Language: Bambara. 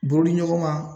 Boriɲɔgɔnma